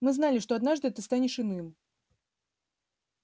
мы знали что однажды ты станешь иным